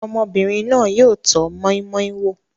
Ọmọbìnrin náà yóò tọ́ moi moi wò.